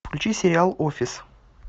включи сериал офис